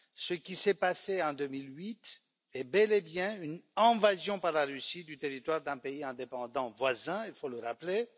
Ce qui s'est passé en 2008 est bel et bien une invasion par la Russie du territoire d'un pays indépendant voisin, il faut le rappeler.